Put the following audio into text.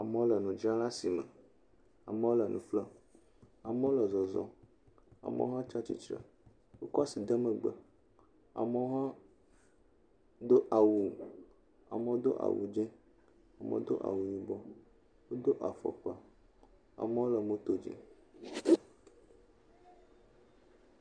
Amewo le nudzram le asime. Amewo le nu ƒlem amewo le zɔzɔm. Amewo hã tsi atsitre wokɔ asi de megbe. Amewo hã do awu. Amewo do awu dzi, amewo hã do awu yibɔ. Wodo afɔkpa. Amewo le moto dzi.